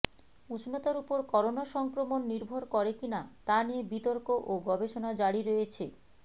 উষ্ণতার উপর করোনা সংক্রমণ নির্ভর করে কি না তা নিয়ে বিতর্ক ও গবেষণা জারি রয়েছে